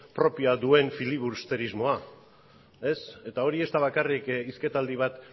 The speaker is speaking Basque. propioa duen filibusterismoa ez eta hori ez da bakarrik hizketaldi bat